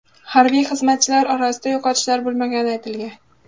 Harbiy xizmatchilar orasida yo‘qotishlar bo‘lmagani aytilgan.